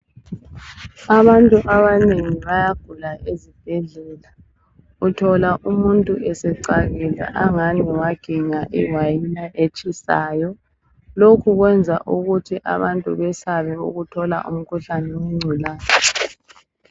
Abantu abanengi bayagula ezibhedlela, uthola umuntu esecakile angani waginya iwayila etshisayo, lokhu kwenza ukuthi abantu besabe ukuthola umkhuhlane wenculaza.